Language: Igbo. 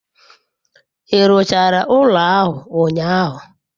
I ruchara ulo ahu unyahu?